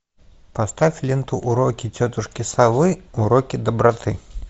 поставь ленту уроки тетушки совы уроки доброты